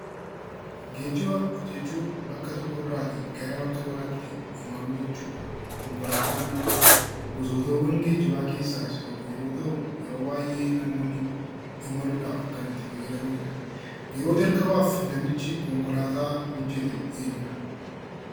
Geejjiba jechuun bakka tokko irraa gara bakka biraatti imaluu jechuudha. Konkolaataa jechuun immoo gosoota geejjibaa keessaa tokko yeroo ta'u yeroo baay'ee namoonni imaluudhaaf kan itti fayyadamanidha. yeroo jalqabaaf namichi konkolaataa hojjete eenyudha?